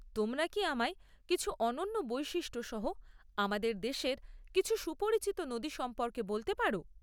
তোমরা কি আমায় কিছু অনন্য বৈশিষ্ট্য সহ আমাদের দেশের কিছু সুপরিচিত নদী সম্পর্কে বলতে পার?